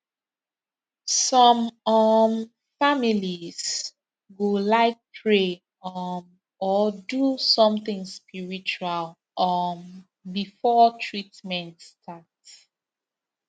some um families go like pray um or do something spiritual um before treatment start